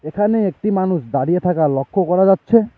এখানে একটি মানুষ দাঁড়িয়ে থাকা লক্ষ করা যাচ্ছে।